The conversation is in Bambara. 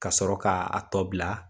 Ka sɔrɔ k'a tɔ bila.